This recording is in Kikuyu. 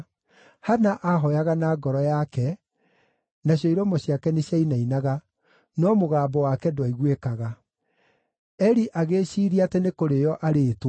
Hana aahooyaga na ngoro yake, nacio iromo ciake nĩciainainaga, no mũgambo wake ndwaiguĩkaga. Eli agĩĩciiria atĩ nĩ kũrĩĩo arĩĩtwo,